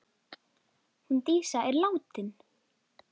Hún Dísa er látin!